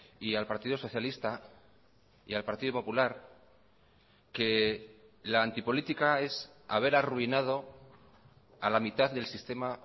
y al partido socialista y al partido popular que la antipolítica es haber arruinado a la mitad del sistema